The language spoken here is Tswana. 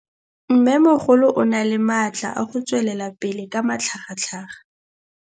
Mmêmogolo o na le matla a go tswelela pele ka matlhagatlhaga.